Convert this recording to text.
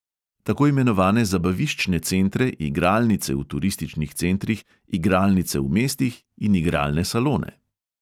Tako imenovane zabaviščne centre, igralnice v turističnih centrih, igralnice v mestih in igralne salone.